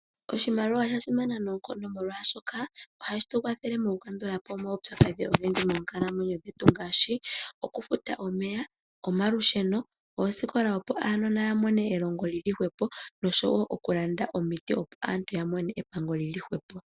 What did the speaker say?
Oshimaliwa oshasimana noonkondo molwashoka, ohashi tu kwathele moku kandula po omaupyakadhi ogendji moonkalamwenyo dhetu ngaashi, oku futa Omeya , Omalusheno, Oosikola opo aanona ya mone elongo li li hwepo nosho wo okulanda omiti opo aantu yamone epango li li hwepo.